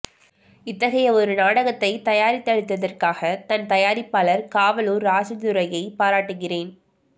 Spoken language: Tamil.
இத்தகைய ஒரு நாடகத்தை தயாரித்தளித்தற்காக தன் தயாரிப்பாளர் காவலூர் ராசதுரையைப் பாராட்டுகிறேன்